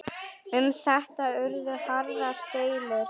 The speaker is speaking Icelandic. Um þetta urðu harðar deilur.